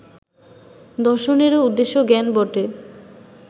দর্শনেরও উদ্দেশ্য জ্ঞান বটে